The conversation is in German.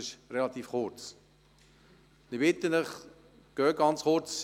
Diese Frist ist ziemlich kurz.